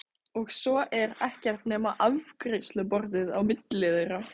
Og svo er ekkert nema afgreiðsluborðið á milli þeirra.